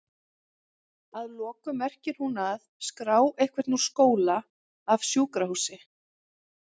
Að lokum merkir hún að?skrá einhvern úr skóla, af sjúkrahúsi?